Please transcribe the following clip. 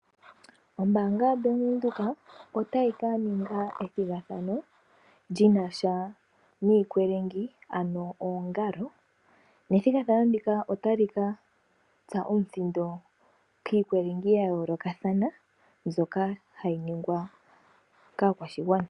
Ombaanga yoBank Widhoek otayi ka ninga ethigathano lyinasha niikwelengi ano oongalo, nethigathano ndika otali katsa omuthindo kiikwelengi ya yoolokathana, mbyoka hayi ningwa kaakwashigwana.